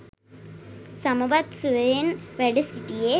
සමවත් සුවයෙන් වැඩ සිටියේ